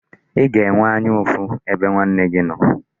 Ị ga-enwe anya ụfụ ebe nwanne gị nọ?